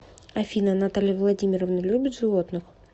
афина наталья владимировна любит животных